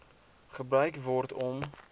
gebruik word om